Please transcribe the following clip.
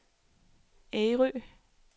Ærø